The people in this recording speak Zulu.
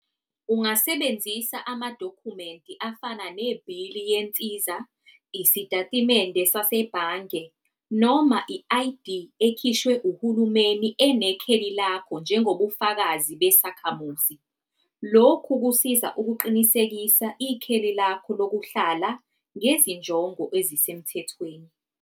Ungasebenzisa amadokhumenti afana nebhili yensiza, isitatimende sasebhange, noma i-I_D ekhishwe uhulumeni enekheli lakho njengobufakazi besakhamuzi. Lokhu kusiza ukuqinisekisa ikheli lakho lokuhlala ngezinjongo ezisemthethweni.